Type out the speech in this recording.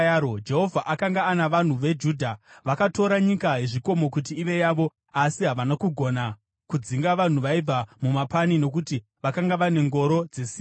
Jehovha akanga ana vanhu veJudha. Vakatora nyika yezvikomo kuti ive yavo, asi havana kugona kudzinga vanhu vaibva mumapani, nokuti vakanga vane ngoro dzesimbi.